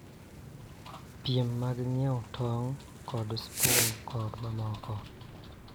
Piem mag ng�iewo tong� kod spun, kod mamoko.